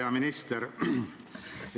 Hea minister!